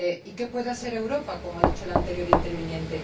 ¿Qué puede hacer Europa, como ha dicho el anterior interviniente?